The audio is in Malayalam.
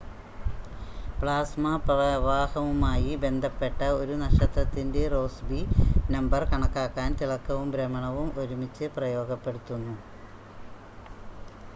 പ്ലാസ്മ പ്രവാഹവുമായി ബന്ധപ്പെട്ട ഒരു നക്ഷത്രത്തിൻ്റെ റോസ്ബി നമ്പർ കണക്കാക്കാൻ തിളക്കവും ഭ്രമണവും ഒരുമിച്ച് ഉപയോഗപ്പെടുത്തുന്നു